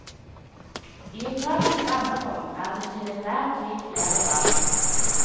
I etatens ammerom er det til enhver tid flere barn.